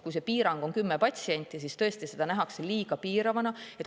Kuna piirang on kümme patsienti, siis tõesti nähakse seda liiga piiravana.